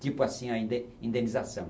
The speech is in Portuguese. Tipo assim a inde indenização.